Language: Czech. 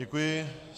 Děkuji.